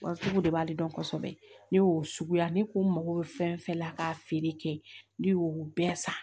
Wa sugu de b'ale dɔn kosɛbɛ ne y'o suguya ne ko n mago bɛ fɛn fɛn la ka feere kɛ ne y'o bɛɛ san